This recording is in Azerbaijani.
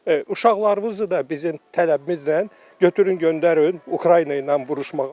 Uşaqlarınızı da bizim tələbimizlə götürün, göndərin Ukrayna ilə vuruşmağa.